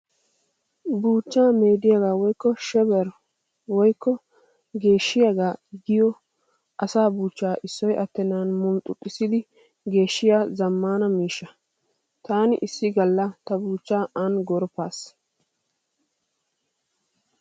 Buuchchaa meediyaagaa woykko 'shaver' woykko geeshshiyaagaa giyoogee asaa buuchchaa issoy attennan mulxxuxxissidi geeshshiyaa zammaana miishsha. Taani issi Galla ta buuchchaa aani gorppissaas.